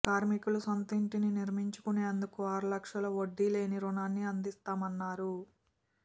కార్మికులు సొంతింటిని నిర్మించుకునేందుకు ఆరు లక్షలు వడ్డీ లేని రుణాన్ని అందిస్తామన్నారు